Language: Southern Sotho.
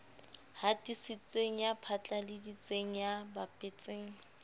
hatisitseng ya phatlaladitseng ya bapetseng